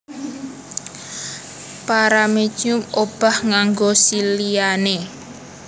Paramecium obah nganggo siliane